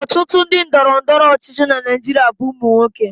Ọtụtụ ndị ndọrọndọrọ ọchịchị na Naijiria bụ ụmụ nwoke.